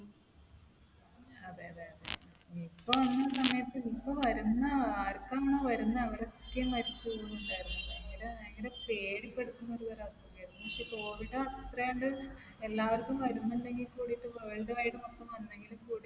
അതെ. അതെ. അതെ. Nipah വന്ന സമയത്ത് Nipah വരുന്ന ആർക്കാണോ വരുന്നേ അവരൊക്കെ മരിച്ച് പോകുന്നുണ്ടായിരുന്നു. ഭയങ്കര പേടിപ്പെടുത്തുന്ന ഒരു തരം അസുഖം ആയിരുന്നു. പക്ഷേ covid അത്രയും അത് എല്ലാവർക്കും വരുന്നുണ്ടെങ്കിൽ കൂടിയിട്ട് world wide മൊത്തം വന്നെങ്കിലും